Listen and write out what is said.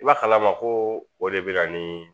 I b'a kalama ko o de bɛ na ni